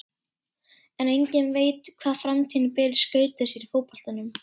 En enginn veit hvað framtíðin ber í skauti sér í fótboltanum.